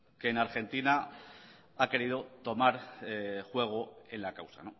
que en argentina ha querido tomar juego en la causa